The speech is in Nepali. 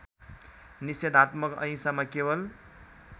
निषेधात्मक अहिंसामा केवल